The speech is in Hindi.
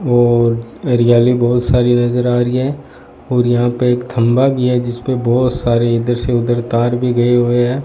और हरियाली बहुत सारी नजर आ रही है और यहां पे एक खंभा भी है जिस पे बहोत सारी इधर से उधर तार भी गए हुए हैं।